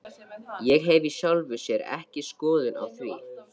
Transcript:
Ég hef í sjálfu sér ekki skoðun á því.